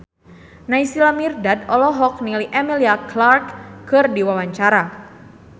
Naysila Mirdad olohok ningali Emilia Clarke keur diwawancara